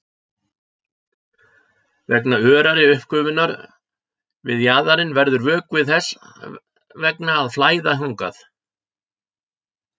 Vegna örari uppgufunar við jaðarinn verður vökvi þess vegna að flæða þangað.